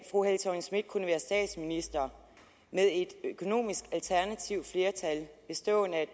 fru helle thorning schmidt kunne være statsminister med et økonomisk alternativt flertal bestående af